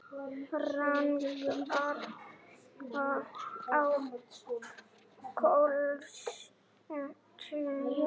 Járnkarlar á klósettinu